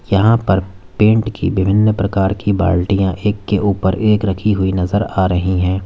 यहां पर पेंट की विभिन्न प्रकार की बाल्टियां एक के ऊपर एक रखी हुई नजर आ रही हैं।